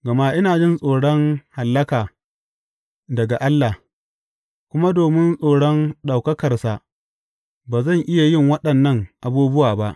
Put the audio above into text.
Gama ina jin tsoron hallaka daga Allah, kuma domin tsoron ɗaukakarsa ba zan iya yin waɗannan abubuwa ba.